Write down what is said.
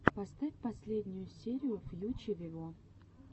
поставь последнюю серию фьюче виво